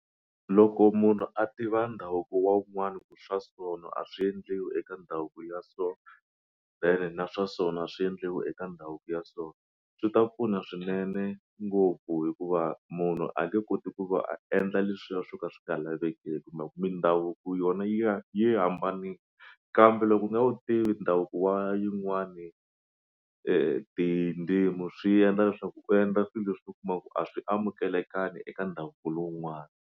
Loko munhu a tiva ndhavuko wa un'wani ku swa sona a swi endliwi eka ndhavuko ya so ene na swa sona a swi endliwi eka ndhavuko ya so swi ta pfuna swinene ngopfu hikuva munhu a nge koti ku va a endla leswiya swo ka swi nga lavekeki mindhavuko yona yi yi hambanini kambe loko u nga wu tivi ndhavuko wa yin'wani tindzimi swi endla leswaku u endla swilo leswi u kumaka ku a swi amukelekangi eka ndhavuko lowun'wani.